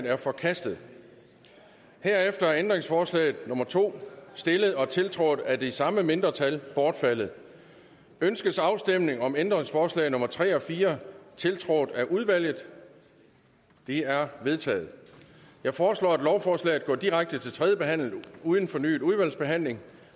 er forkastet herefter er ændringsforslag nummer to stillet og tiltrådt af det samme mindretal bortfaldet ønskes afstemning om ændringsforslag nummer tre og fire tiltrådt af udvalget det er vedtaget jeg foreslår at lovforslaget går direkte til tredje behandling uden fornyet udvalgsbehandling